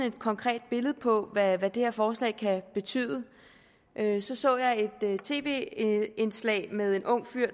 et konkret billede på hvad det her forslag kan betyde jeg så så et tv indslag med en ung fyr